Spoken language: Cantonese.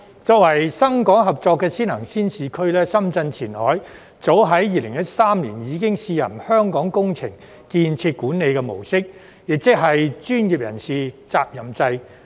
作為深港合作的先行先試區，深圳前海早在2013年已經試行"香港工程建設管理"模式，亦即是"專業人士責任制"。